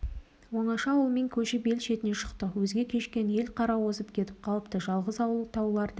оңаша ауылмен көшіп ел шетіне шықтық өзге көшкен ел қара озып кетіп қалыпты жалғыз ауыл тауларды